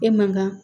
E man kan